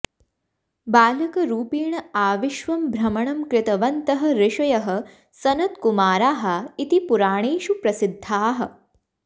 बालकरूपेण आविश्वं भ्रमणं कृतवन्तः ऋषयः सनत्कुमाराः इति पुराणेषु प्रसिद्धाः